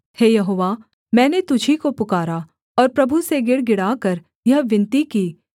हे यहोवा मैंने तुझी को पुकारा और प्रभु से गिड़गिड़ाकर यह विनती की कि